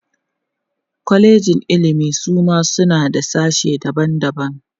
kwalejin ilimi Suma suma suna da sashe daban daban